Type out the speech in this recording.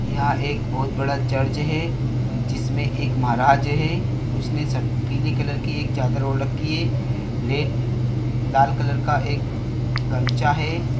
यहाँ एक बहुत बड़ा चर्च है जिसमे एक महराज है उसने सब पीले कलर के चादर ओढ़ राखी है रेड लाल कलर का एक गमछा है।